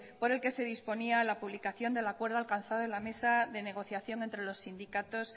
por el que se disponía la publicación del acuerdo alcanzado en la mesa de negociación entre los sindicatos